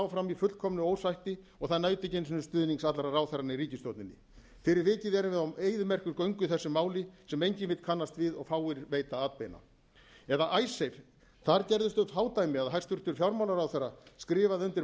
áfram í fullkomnu ósætti og það naut ekki einu sinni stuðnings allra ráðherranna í ríkisstjórninni fyrir vikið erum við á eyðimerkurgöngu í þessu máli sem enginn vill kannast við og fáir veita atbeina eða icesave það gerðust þau fádæmi að hæstvirtur fjármálaráðherra skrifaði undir